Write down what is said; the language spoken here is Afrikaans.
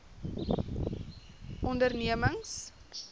ondernemings